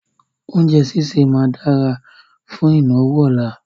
Oúnjẹ sísẹ̀ máa dára fún ìnáwó ọ̀la.